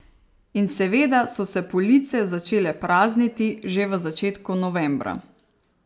In seveda so se police začele prazniti že v začetku novembra.